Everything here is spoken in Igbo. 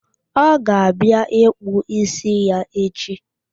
Ọ ga-abịa ịkpụ ísí ya echi.